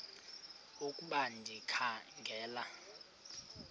ukuba ndikha ngela